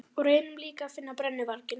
Og reynum líka að finna brennuvarginn.